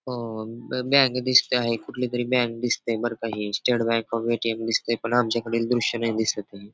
अं bank दिसती आहे कुठलीतरी बँक दिसती आहे बरं का ही स्टेट बँक ऑफ ए.टी.एम. दिसतय पण आमच्याकडील द्रुष्य नाही दिसतय ही.